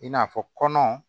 I n'a fɔ kɔnɔ